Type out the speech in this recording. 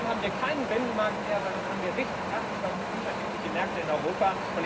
Dann haben wir keinen Binnenmarkt mehr, sondern dann haben wir richtig 28 unterschiedliche Märkte in Europa.